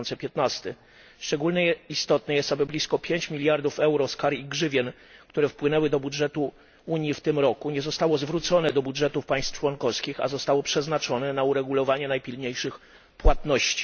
2015. Szczególnie istotne jest, aby blisko 5 mld EUR z kar i grzywien, które wpłynęły do budżetu Unii w tym roku, nie zostało zwróconych do budżetów państw członkowskich, a zostało przeznaczonych na uregulowanie najpilniejszych płatności.